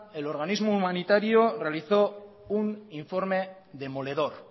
el organismo humanitario realizó un informe demoledor